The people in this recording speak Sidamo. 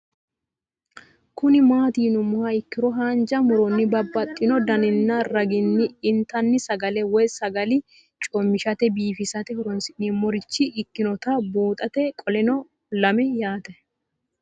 Kuni mati yinumoha ikiro hanja muroni babaxino daninina ragini intani sagale woyi sagali comishatenna bifisate horonsine'morich ikinota bunxana qoleno lame yaate?